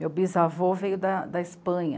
Meu bisavô veio da, da Espanha.